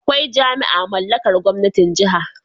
Akwai jami'a mallakar gwamnatin Jiha